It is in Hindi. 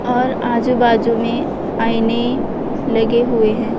और आजू बाजू में आईने लगे हुए हैं।